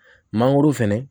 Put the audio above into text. Mangoro fɛnɛ